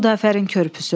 Xudafərin körpüsü.